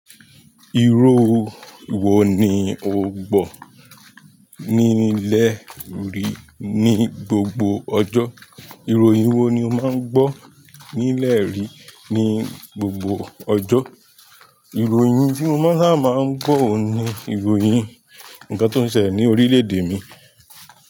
Irú ìwo ni o gbọ́ ní ilẹ̀ rí ní gbogbo ọjọ́? Ìróyin wo ni o máa ń gbọ́ nílẹ̀ rí ní gbogbo ọjọ́? Ìròyìn tí mo máa sábà maa ń gbọ́ oun ni ìròyìn ǹnkan tó ń ṣẹlẹ̀ ní orílẹ̀-èdè mi.